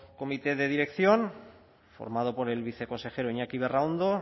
comité de dirección formado por el viceconsejero iñaki berraondo